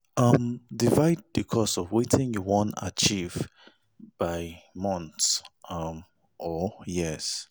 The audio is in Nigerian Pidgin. um Divide the cost of wetin you won achieve by months um or years